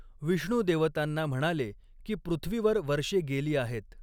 विष्णू देवतांना म्हणाले की पृथ्वीवर वर्षे गेली आहेत.